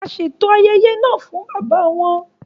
A ṣeto ayẹyẹ náà fún bàbá wọn